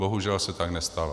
Bohužel se tak nestalo.